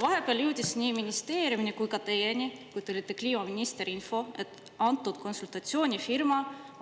Vahepeal jõudis nii ministeeriumi kui ka teieni, kui te olite kliimaminister, info, et antud konsultatsioonifirma